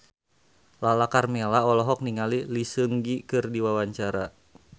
Lala Karmela olohok ningali Lee Seung Gi keur diwawancara